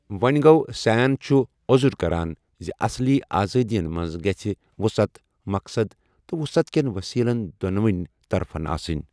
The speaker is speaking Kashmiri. وونۍ گوٚو سین چھُ عزُر كران زِ اصلی آزٲدِین منز گژھہِ وُصعت ، مقصد تہٕ وُصعت كین وصیلن دونونی طرفن آسنٕۍ۔